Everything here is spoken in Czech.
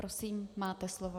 Prosím, máte slovo.